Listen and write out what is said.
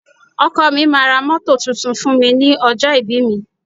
Ọkọ mi máa ra mọ́tò tuntun fún mi ní ọjọ́ ìbí mi.